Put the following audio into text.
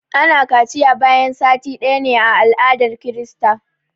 ana kaciya bayan sati ɗaya ne a aladar krista